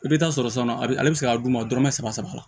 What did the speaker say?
I bɛ taa sɔrɔ sanu ale bɛ se ka d'u ma dɔrɔmɛ saba saba la